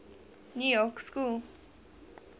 new york school